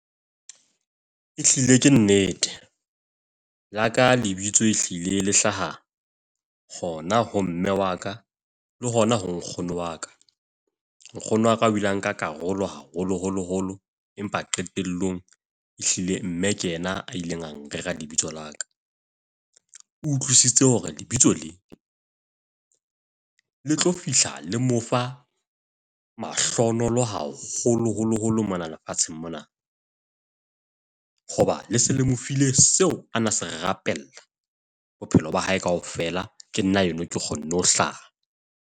Ehlile ke nnete, la ka lebitso e hlile le hlaha hona ho mme wa ka, le hona ho nkgono wa ka. Nkgono wa ka o ile a nka karolo haholoholo holo, empa qetelllong ehlile mme ke yena a ileng a na reha lebitso la ka. O utlwisise hore lebitso le tlo fihla, le mo fa mahlohonolo haholoholo holo mona lefatsheng mona. Hoba le se le mo file seo a na se rapella bophelong ba hae kaofela. Ke nna yona ke kgonne ho hlaha.